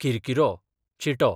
किरकिरो, चिटो